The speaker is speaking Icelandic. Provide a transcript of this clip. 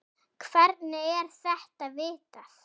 Hvernig er þetta vitað?